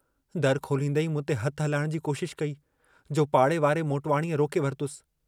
दरु खोलींदें ई मूंते हथु हलाइण जी कोशशि कई, जो पाड़े वारे मोटवाणीअ रोके वरतुसि।